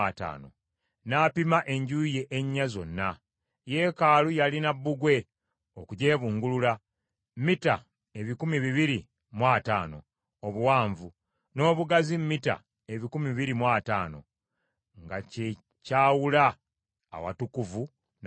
N’apima enjuuyi ennya zonna. Yeekaalu yalina bbugwe okugyebungulula, mita ebikumi bibiri mu ataano obuwanvu, n’obugazi mita ebikumi bibiri mu ataano, nga kye kyawula awatukuvu n’awabulijjo.